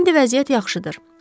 İndi vəziyyət yaxşıdır.